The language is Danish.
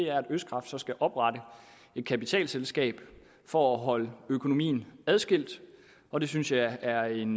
at østkraft så skal oprette et kapitalselskab for at holde økonomien adskilt og det synes jeg er en